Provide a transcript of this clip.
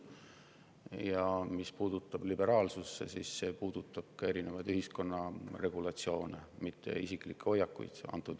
Ja mis puudutab liberaalsust, siis see puudutab ka erinevaid ühiskonna regulatsioone, mitte isiklikke hoiakuid.